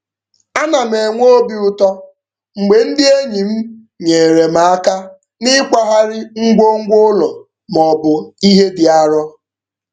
Ana m enwe obi ụtọ mgbe ndị enyi m nyeere m aka n'ịkwagharị ngwongwo ụlọ maọbụ ihe dị arọ.